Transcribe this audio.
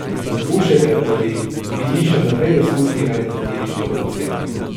Ne dopuščajte, da bi bili še naprej v službi ene politične opcije!